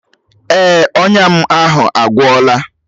Èè, ọnya m ahụ agwọla.